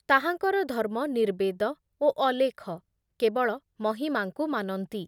ତାହାଙ୍କର ଧର୍ମ ନିର୍ବେଦ ଓ ଅଲେଖ, କେବଳ ମହିମାଙ୍କୁ ମାନନ୍ତି ।